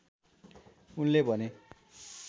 उनले भने